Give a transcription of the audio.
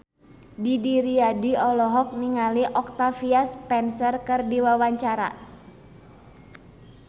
Didi Riyadi olohok ningali Octavia Spencer keur diwawancara